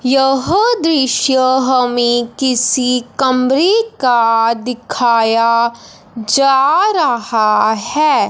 यह दृश्य हमें किसी कमरे का दिखाया जा रहा है।